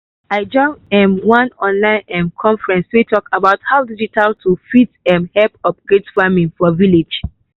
i join um one online um conference wey talk about how digital tools fit um help upgrade farming for village.